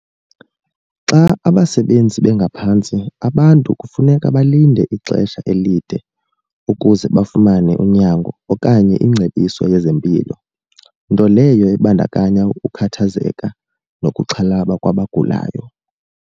Xa abasebenzi bengaphantsi abantu kufuneka balinde ixesha elide ukuze bafumane unyango okanye ingcebiso yezempilo. Nto leyo ebandakanya ukukhathazeka nokuxhalaba kwabagulayo.